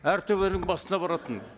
әр төбенің басына баратын